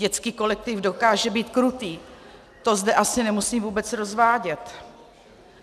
Dětský kolektiv dokáže být krutý, to zde asi nemusím vůbec rozvádět.